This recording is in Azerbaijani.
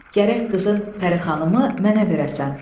Gərək qızın Pərixanımı mənə verəsən.